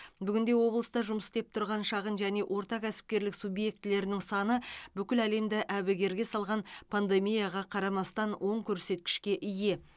бүгінде облыста жұмыс істеп тұрған шағын және орта кәсіпкерлік субъектілерінің саны бүкіл әлемді әбігерге салған пандемияға қарамастан оң көрсеткішке ие